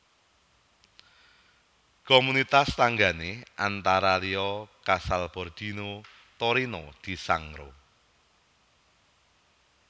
Komunitas tanggané antara liya Casalbordino Torino di Sangro